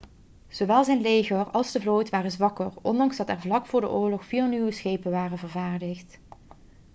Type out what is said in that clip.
zowel zijn leger als de vloot waren zwakker ondanks dat er vlak voor de oorlog vier nieuwe schepen waren vervaardigd